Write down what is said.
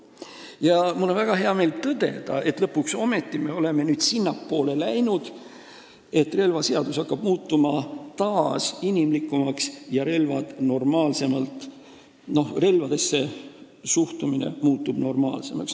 Ja mul on väga hea meel tõdeda, et lõpuks ometi me läheme nüüd sinnapoole, et relvaseadus hakkab taas inimlikumaks muutuma ja ka relvadesse suhtumine normaalsemaks muutuma.